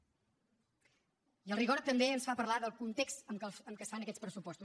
i el rigor també ens fa parlar del context en què es fan aquests pressupostos